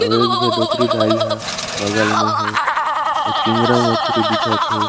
और एक जो डोकरी दा आई हा बगल मे है और चिंगरा मछली दिखत है।